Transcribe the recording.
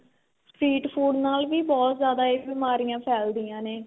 street food ਨਾਲ ਵੀ ਬਹੁਤ ਜਿਆਦਾ ਇਹ ਬੀਮਾਰੀਆ ਫੈਲਦੀਆਂ ਨੇ